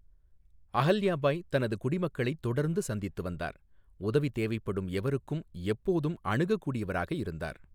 அஹல்யா பாய் தனது குடிமக்களைத் தொடர்ந்து சந்தித்து வந்தார், உதவி தேவைப்படும் எவருக்கும் எப்போதும் அணுகக்கூடியவராக இருந்தார்.